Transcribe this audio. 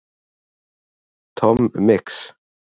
Tom Mix